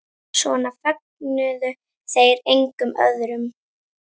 Svona fögnuðu þeir engum öðrum.